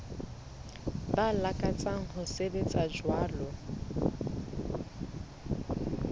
ba lakatsang ho sebetsa jwalo